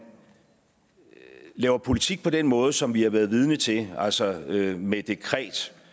laver politik på den måde som vi har været vidne til altså med med dekret